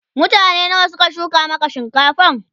mutane nawa Suka shuka Maka shinkafan?